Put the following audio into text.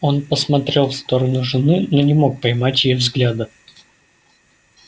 он посмотрел в сторону жены но не мог поймать её взгляда